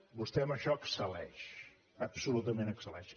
vostè en això excel·leix absolutament excel·leix